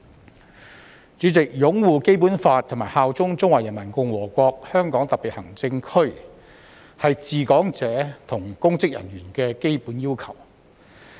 代理主席，擁護《基本法》及效忠中華人民共和國香港特別行政區，是治港者及公職人員的基本要求。